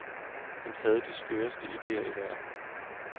Han havde de skøreste ideer i verden.